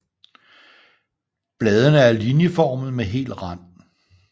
Bladene er linjeformede med hel rand